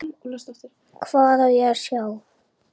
Hvað á ég að sjá?